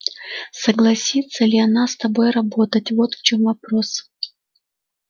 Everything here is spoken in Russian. согласится ли она с тобой работать вот в чем вопрос